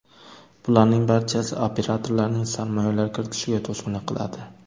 Bularning barchasi operatorlarning sarmoyalar kiritishiga to‘sqinlik qiladi.